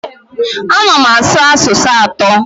Ana m asụ asụsụ atọ.